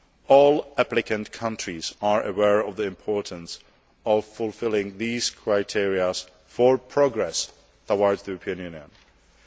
All applicant countries are aware of the importance of fulfilling these criteria for progress towards the European Union.